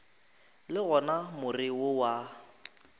le gona more wo wa